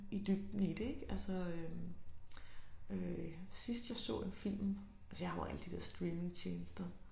I dybden i det ik altså sidst jeg så en film altså jeg har jo alle de her streamingtjenester